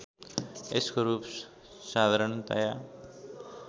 यसको रूप साधारणतया